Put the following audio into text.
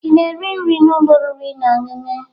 Ị na-eri nri na ụlọ oriri na ọṅụṅụ?